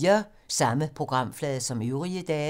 Samme programflade som øvrige dage